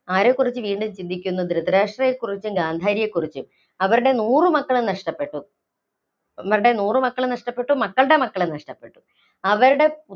ആരെക്കുറിച്ച് വീണ്ടും ചിന്തിക്കുന്നു, ധൃതരാഷ്ട്രരെ ക്കുറിച്ചും, ഗാന്ധാരിയെ ക്കുറിച്ചും, അവരുടെ നൂറു മക്കളെ നഷ്ടപ്പെട്ടു, അവരടെ നൂറു മക്കളെ നഷ്ടപ്പെട്ടു. മക്കള്‍ടെ മക്കളെ നഷ്ടപ്പെട്ടു. അവരടെ